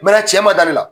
Mɛ cɛ ma da ne la